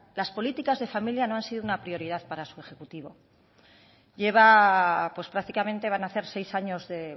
las políticas de familia no han sido una prioridad para su ejecutivo prácticamente van a hacer seis años de